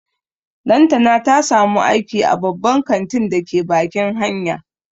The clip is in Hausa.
Lantana ta samu aiki a babban kantin da ke bakin hanya